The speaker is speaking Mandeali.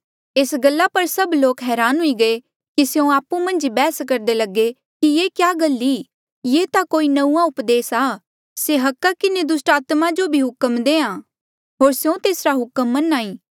एस गला पर सभ लोक हरान हुई गये कि स्यों आपु मन्झ ई बैहस करदे लगे कि ये क्या गल ई ये ता कोई नंऊँआं उपदेस आ से अधिकारा किन्हें दुस्टात्मा जो भी हुक्म देहां होर स्यों तेसरा हुक्म मन्हां ईं